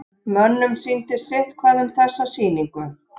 Mönnum sýndist sitthvað um þessa sýningu.